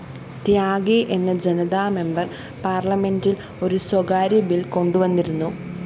ത്യാഗി എന്ന ജനതാ മെമ്പർ പാര്‍ലമെന്റില്‍ ഒരു സ്വകാര്യബില്‍ കൊണ്ടുവന്നിരുന്നു